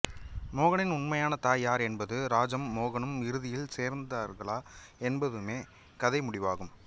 மோகனின் உண்மையான தாய் யார் என்பதும் ராஜமும் மோகனும் இறுதியில் சேர்ந்தார்களா என்பதுமே கதைமுடிவாகும்